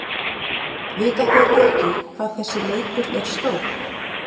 Vita þeir ekki hvað þessi leikur er stór?